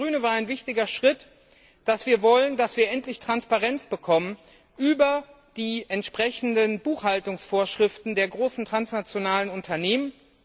Für uns als Grüne war ein wichtiger Schritt, dass wir wollen, dass wir endlich Transparenz bekommen über die entsprechenden Buchhaltungsvorschriften der großen transnationalen Unternehmen.